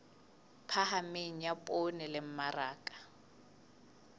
phahameng ya poone le mmaraka